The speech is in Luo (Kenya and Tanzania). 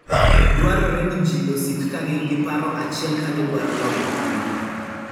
Dwarore ni ji osik ka gin gi paro achiel ka gidwaro loyo tuono.